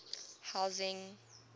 housing